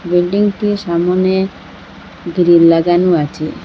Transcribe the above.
বিল্ডিংটি সামোনে গ্রিল লাগানো আছে।